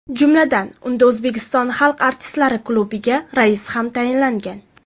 Jumladan, unda O‘zbekiston xalq artistlari klubiga rais ham tayinlangan.